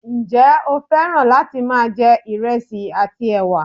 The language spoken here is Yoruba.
njé o fẹràn láti ma je ìresì àti ẹwà